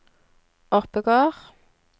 Oppegård